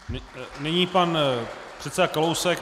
Nyní pan předseda Kalousek.